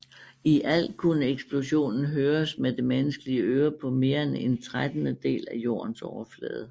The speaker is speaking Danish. I alt kunne eksplosionen høres med det menneskelige øre på mere end en trettendedel af Jordens overflade